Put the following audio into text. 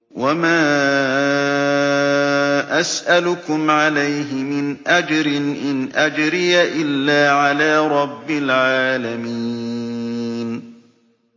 وَمَا أَسْأَلُكُمْ عَلَيْهِ مِنْ أَجْرٍ ۖ إِنْ أَجْرِيَ إِلَّا عَلَىٰ رَبِّ الْعَالَمِينَ